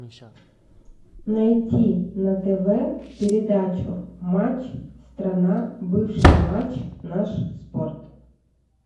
найти на тв передачу матч страна бывший матч наш спорт